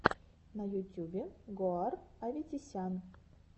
на ютюбе гоар аветисян